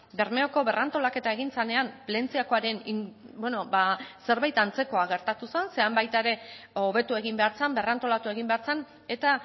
bermeoko berrantolaketa egin zenean plentziakoaren zerbait antzekoa gertatu zen ze han baita ere hobetu egin behar zen berrantolatu egin behar zen eta